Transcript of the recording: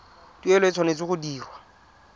tuelo e tshwanetse go dirwa